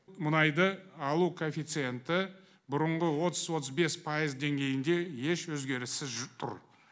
мұнайды алу коэффициенті бұрынғы отыз отыз бес пайыз деңгейінде еш өзгеріссіз жүріп тұр